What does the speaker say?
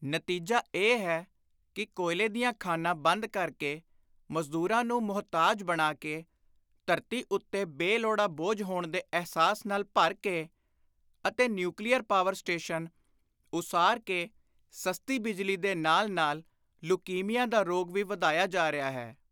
ਨਤੀਜਾ ਇਹ ਹੈ ਕਿ ਕੋਇਲੇ ਦੀਆਂ ਖਾਣਾਂ ਬੰਦ ਕਰ ਕੇ ਮਜ਼ਦੂਰਾਂ ਨੂੰ ਮੁਹਤਾਜ ਬਣਾ ਕੇ, ਧਰਤੀ ਉੱਤੇ ਬੇ-ਲੋੜਾ ਬੋਝ ਹੋਣ ਦੇ ਅਹਿਸਾਸ ਨਾਲ ਭਰ ਕੇ ਅਤੇ ਨਿਊਕਲੀਅਰ ਪਾਵਰ ਸਟੇਸ਼ਨ ਉਸਾਰ ਕੇ ਸਸਤੀ ਬਿਜਲੀ ਦੇ ਨਾਲ ਨਾਲ ਲੁਕੀਮੀਆਂ ਦਾ ਰੋਗ ਵੀ ਵਧਾਇਆ ਜਾ ਰਿਹਾ ਹੈ।